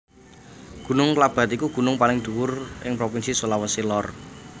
Gunung Klabat iku gunung paling dhuwur ing Provinsi Sulawesi Lor